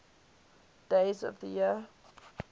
days of the year